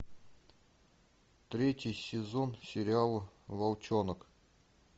третий сезон сериал волчонок